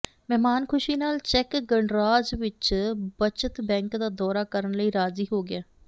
ਮਹਿਮਾਨ ਖ਼ੁਸ਼ੀ ਨਾਲ ਚੈੱਕ ਗਣਰਾਜ ਵਿਚ ਬੱਚਤ ਬਕ ਦਾ ਦੌਰਾ ਕਰਨ ਲਈ ਰਾਜ਼ੀ ਹੋ ਗਿਆ